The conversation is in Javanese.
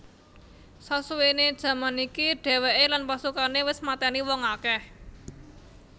Sasuwene jaman iki dheweke lan pasukane wis mateni wong akeh